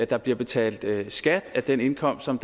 der bliver betalt skat af den indkomst som